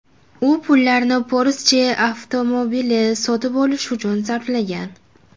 U pullarni Porsche avtomobili sotib olish uchun sarflagan.